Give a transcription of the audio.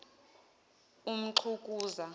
umxukuza